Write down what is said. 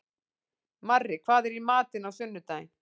Marri, hvað er í matinn á sunnudaginn?